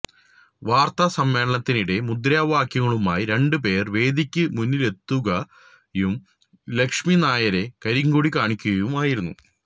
വാര്ത്താ സമ്മേളനത്തിനിടെ മുദ്രാവാക്യങ്ങളുമായി രണ്ടു പേര് വേദിക്കു മുന്നിലേക്കെത്തുകയും ലക്ഷ്മിനായരെ കരിങ്കൊടി കാണിക്കുകയുമായിരുന്നു